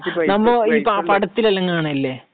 പ്രത്യേകിച്ച് നമ്മൾ പടത്തിൽ എല്ലാം കാണുന്നില്ലേ? എന്ത്യേ